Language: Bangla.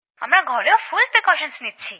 আমরা ঘরেও সম্পূর্ণ সুরক্ষা নিচ্ছি